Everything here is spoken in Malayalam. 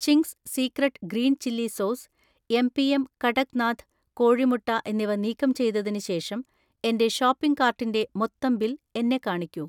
Ching's secret green chilli sauce, MPM. Kadaknath കോഴിമുട്ട എന്നിവ നീക്കം ചെയ്‌തതിന് ശേഷം എന്‍റെ ഷോപ്പിംഗ് കാർട്ടിന്‍റെ മൊത്തം ബിൽ എന്നെ കാണിക്കൂ